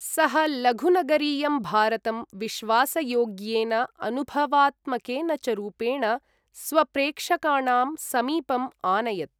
सः लघुनगरीयं भारतं विश्वासयोग्येन अनुभवात्मकेन च रूपेण स्वप्रेक्षकाणां समीपम् आनयत्।